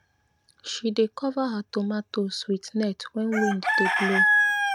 she dey cover her tomatoes with net when wind dey blow